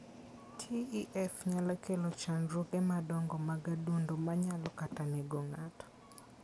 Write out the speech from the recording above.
TEF nyalo kelo chandruoge madongo mag adundo ma nyalo kata nego ng'ato.